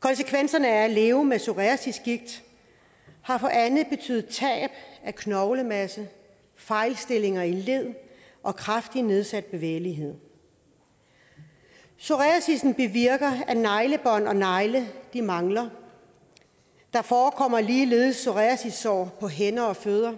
konsekvenserne af at leve med psoriasisgigt har for anne betydet tab af knoglemasse fejlstillinger i led og kraftigt nedsat bevægelighed psoriasissen bevirker at neglebånd og negle mangler der forekommer ligeledes psoriasissår på hænder og fødder